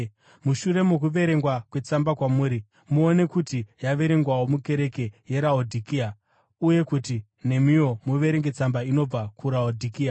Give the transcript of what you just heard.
Mushure mokuverengwa kwetsamba kwamuri, muone kuti yaverengwawo mukereke yeRaodhikea uye kuti nemiwo muverenge tsamba inobva kuRaodhikea.